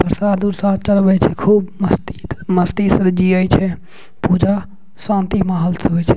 प्रसाद उरसाद चढ़वे छै खूब मस्ती मस्ती से जिए छै पूजा शांति माहौल से होय छै।